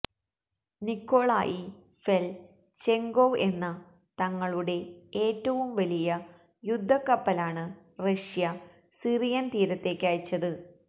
Nikolai ഫെല് ചെങ്കോവ് എന്ന തങ്ങളുടെ ഏറ്റവും വലിയ യുദ്ധക്കപ്പലാണ് റഷ്യ സിറിയന് തീരത്തേക്കയച്ചത്